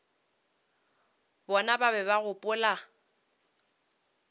bona ba be ba gopola